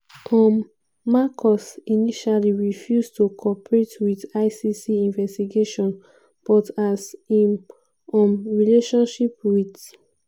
um marcos initially refuse to co-operate wit icc investigation but as im um relationship wit